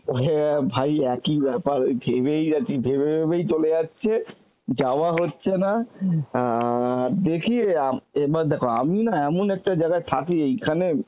হ্যাঁ ভাই একই ব্যাপার ওই ভেবেই যাচ্ছি ভেবে ভেবেই চলে যাচ্ছে যাওয়া হচ্ছে না আর দেখি এর মা~ দেখো আমি না এমন একটা জায়গায় থাকি এইখানে